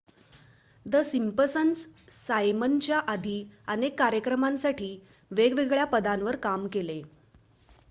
the Simpsons सायमनच्या आधी अनेक कार्यक्रमांसाठी वेगवेगळ्या पदांवर काम केले